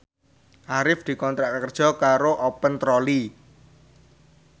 Arif dikontrak kerja karo Open Trolley